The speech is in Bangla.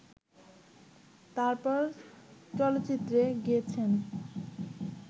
তারপর চলচ্চিত্রে গেয়েছেন